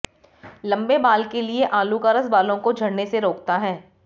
लंबे बाल के लिए आलू का रस बालों को झड़ने से रोकता है